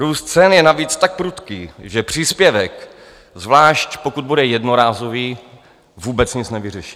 Růst cen je navíc tak prudký, že příspěvek, zvlášť pokud bude jednorázový, vůbec nic nevyřeší.